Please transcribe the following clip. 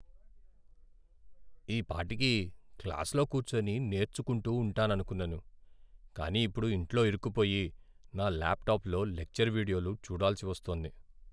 ఈపాటికి క్లాసులో కూర్చుని నేర్చుకుంటూ ఉంటాననుకున్నాను, కానీ ఇప్పుడు ఇంట్లో ఇరుక్కుపోయి, నా ల్యాప్టాప్లో లెక్చర్ వీడియోలు చూడాల్సి వస్తోంది.